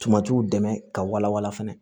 Tamatiw dɛmɛ ka walawala fana